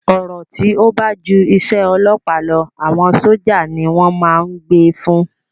Ọ̀rọ̀ tí ó ba ti ju isẹ́ ọlọ́ọ̀pá lọ, àwọn sójà ni wọ́n ma n gbé e fún